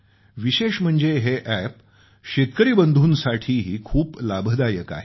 विशेष म्हणजे हे अॅप शेतकरी बंधूंसाठीही खूप लाभदायक आहे